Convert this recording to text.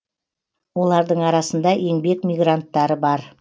олардың арасында еңбек мигранттары бар